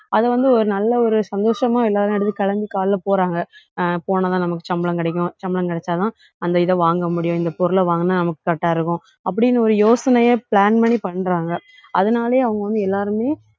அதை வந்து, ஒரு நல்ல ஒரு சந்தோஷமா எல்லாரும் எடுத்து கிளம்பி காலையில போறாங்க. ஆஹ் போனாதான் நமக்கு சம்பளம் கிடைக்கும். சம்பளம் கிடைச்சாதான் அந்த இதை வாங்க முடியும். இந்த பொருளை வாங்கினால் நமக்கு correct ஆ இருக்கும். அப்படின்னு ஒரு யோசனையை plan பண்ணி பண்றாங்க. அதனாலேயே அவங்க வந்து எல்லாருமே,